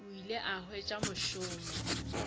o ile a hwetša mošomo